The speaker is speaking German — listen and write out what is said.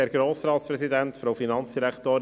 Kommissionspräsident der FiKo.